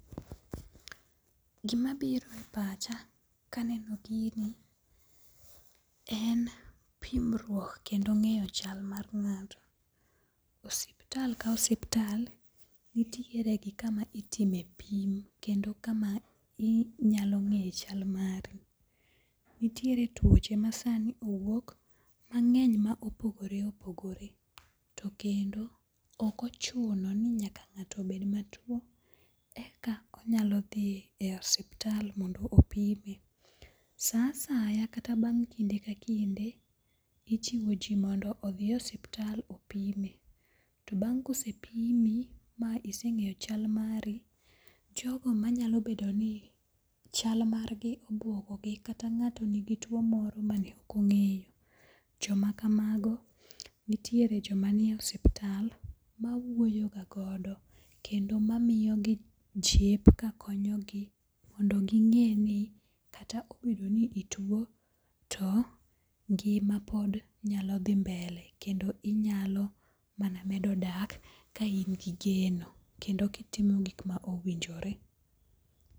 Gimabiro e pacha kaneno gini en pimruok kendo ng'eyo chal mar ng'ato. Osiptal ka osiptal nitiere gi kama itime pim kendo kama inyalo ng'e chal mari. Nitiere tuoche masani owuok mang'eny ma opogore opogore to kendo ok ochuno ni nyaka ng'ato bed matuo eka onyalo dhi e osuptal mondo opime. Sa asaya kata bang' kinde ka kinde ijiwo ji mondo odhi e osiptal opime, to bang' kosepimi miseng'eyo chal mari, jogo manyalo bedoni chal margi obuogogi kata ng'ato nigi tuo moro mane ok ong'eyo, jomakamago nitiere joma nie osiptal mawuoyoga godo kendo mamiyogi jip kakonyogi mondo ging'e ni kata obedo ni ituo to ngima pod nyalo dhi mbele kendo inyalo mana medo dak ka in gi geno kendo kitimo gik ma owinjore.